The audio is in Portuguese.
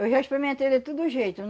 Eu já experimentei de tudo jeito.